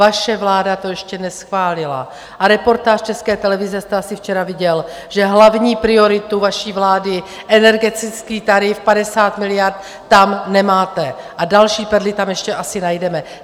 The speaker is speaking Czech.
Vaše vláda to ještě neschválila a reportáž České televize jste asi včera viděl, že hlavní prioritu vaší vlády - energetický tarif 50 miliard - tam nemáte a další perly tam ještě asi najdeme.